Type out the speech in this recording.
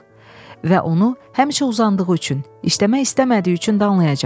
Və onu həmişə uzandığı üçün, işləmək istəmədiyi üçün danlayacaq.